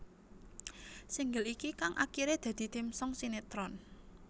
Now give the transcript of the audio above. Single iki kang akiré dadi theme song sinetron